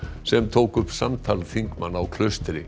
sem tók upp samtal þingmanna á Klaustri